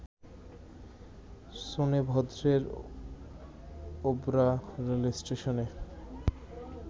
শোনেভদ্রের Obra রেলস্টেশনে